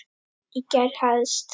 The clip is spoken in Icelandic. Í gær helst.